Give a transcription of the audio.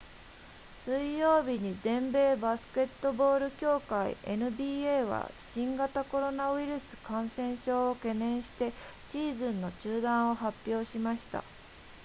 水曜日に全米バスケットボール協会 nba は新型コロナウイルス感染症を懸念してシーズンの中断を発表しました